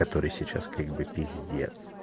который сейчас как бы пиздец